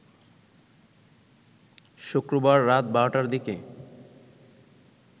শুক্রবার রাত ১২টার দিকে